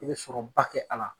I be sɔrɔ ba kɛ a la